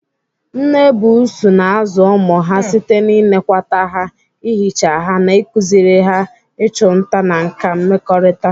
Nne buusu na-azụ ụmụ ha site n'ịnekwata ha, ihicha ha, na ịkụziri ha ịchụ nta na nkà mmekọrịta.